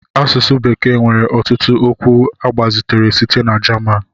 Asụsụ bekee nwere ọtụtụ okwu agbazitere site na German